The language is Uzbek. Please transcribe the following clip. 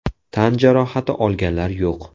Tan jarohati olganlar yo‘q.